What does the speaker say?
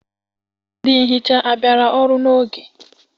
Ndị nhicha abịara ọrụ n'oge?